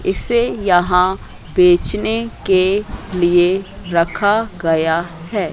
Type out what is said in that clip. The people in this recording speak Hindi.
इसे यहां बेचने के लिए रखा गया है।